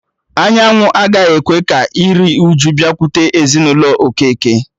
Anyanwụ agaghị ekwe ka iriuju bịakwute ezinụlọ Okeke